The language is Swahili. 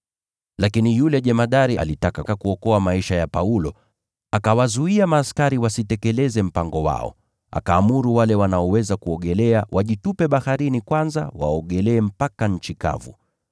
Lakini yule jemadari alitaka kuokoa maisha ya Paulo, basi akawazuia askari wasitekeleze mpango wao. Akaamuru wale wanaoweza kuogelea wajitupe baharini kwanza, waogelee mpaka nchi kavu.